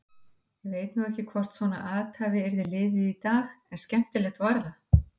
Ég veit nú ekki hvort svona athæfi yrði liðið í dag en skemmtilegt var það.